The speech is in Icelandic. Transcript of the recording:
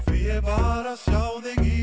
ég var að sjá þig í